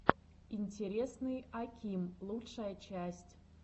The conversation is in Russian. интересный аким лучшая часть